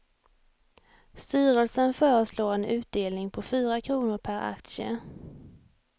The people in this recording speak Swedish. Styrelsen föreslår en utdelning på fyra kronor per aktie.